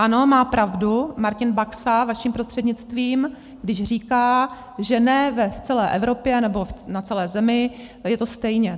Ano, má pravdu Martin Baxa vaším prostřednictvím, když říká, že ne v celé Evropě nebo na celé Zemi je to stejně.